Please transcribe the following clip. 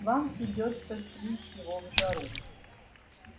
вам придётся стричь его в жару